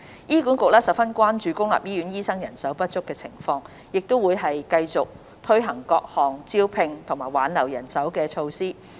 醫管局十分關注公立醫院的醫生人手情況，會持續推行各項增聘及挽留人手的措施。